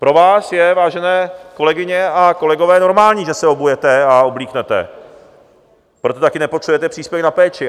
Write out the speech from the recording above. Pro vás je, vážené kolegyně a kolegové, normální, že se obujete a obléknete, proto také nepotřebujete příspěvek na péči.